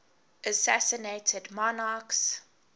assassinated monarchs